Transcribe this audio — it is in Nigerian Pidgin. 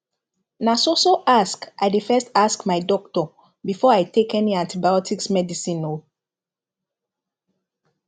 na so so ask i dey first ask my doctor before i take any antibiotics medicine o